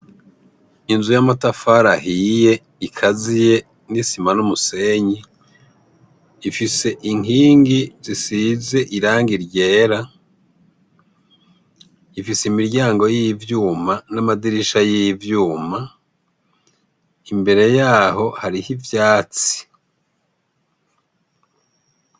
Inzu ya matafari ahiye ikaziye n'isima n'umusenyi ifise inkingi zisize irangi ryera ifise imiryango y'ivyuma n'amadirisha y'ivyuma imbere yaho hariho ivyatsi.